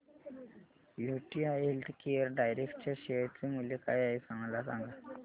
UTI healthcare direct च्या share चे मूल्य काय आहे मला सांगा